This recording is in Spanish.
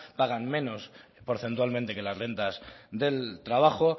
pagan menos porcentualmente que las rentas del trabajo